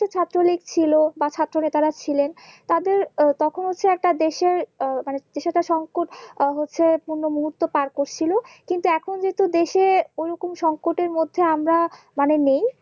ছাত্রলীক ছিল বা ছাত্র নেতারা ছিলেন তাদের তখন হচ্ছে একটা দেশের আহ মানে সেটা সংকোচ হচ্ছে পূর্ণ মুহূর্ত পার্কস ছিল কিন্তু এখন যেহুতু দেশে ওই রকম সংকটের মধ্যে আমরা মানে নেই